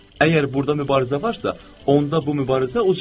Əgər burda mübarizə varsa, onda bu mübarizə ucaldır.